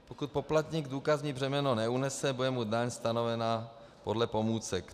Pokud poplatník důkazní břemeno neunese, bude mu daň stanovena podle pomůcek.